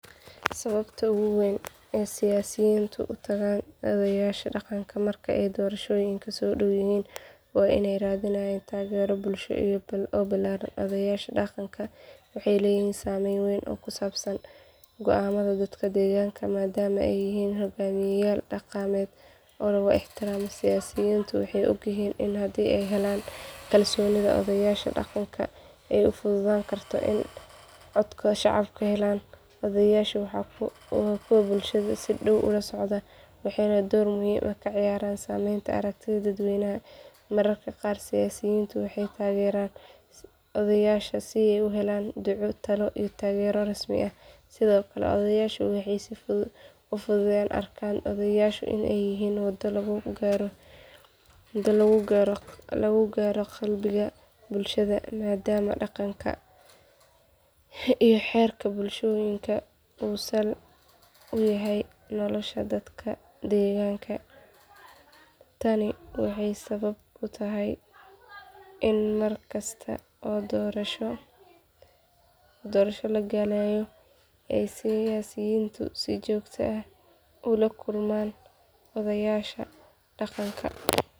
Sababta ugu weyn ee siyaasiyiintu u tagaan odayaasha dhaqanka marka ay doorashooyinku soo dhow yihiin waa in ay raadinayaan taageero bulsho oo ballaaran. Odayaasha dhaqanka waxay leeyihiin saameyn weyn oo ku saabsan go’aamada dadka deegaanka maadaama ay yihiin hoggaamiyeyaal dhaqameed oo lagu ixtiraamo. Siyaasiyiintu waxay ogyihiin in haddii ay helaan kalsoonida odayaasha dhaqanka ay u fududaan karto in ay codadka shacabka helaan. Odayaashu waa kuwo bulshada si dhow ula socda, waxayna door muhiim ah ka ciyaaraan samaynta aragtida dadweynaha. Mararka qaar siyaasiyiintu waxay u tagaan odayaasha si ay u helaan duco, talo iyo taageero rasmi ah. Sidoo kale odayaashu waxay u fududeeyaan siyaasiyiinta in ay dadka la hadlaan, una gudbiyaan fariimaha ay wataan si kalsooni leh. Siyaasiyiinta waxay u arkaan odayaasha in ay yihiin waddo lagu gaaro qalbiga bulshada maadaama dhaqanka iyo xeerka bulshooyinku uu sal u yahay nolosha dadka deegaanka. Tani waxay sabab u tahay in mar kasta oo doorasho la galayo ay siyaasiyiintu si joogto ah ula kulmaan odayaasha dhaqanka.